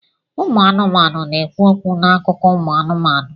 Ụmụ anụmanụ na-ekwu okwu na akụkọ ụmụ anụmanụ.